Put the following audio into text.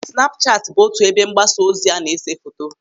Snapuchatu bụ otu ebe mgbasa ozi a na-ese foto.